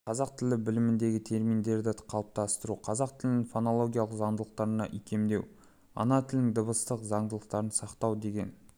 қазақ тілі білімінде терминдерді қалыптастыру қазақ тілінің фонологиялық заңдылықтарына икемдеу ана тілінің дыбыстық заңдылықтарын сақтау деген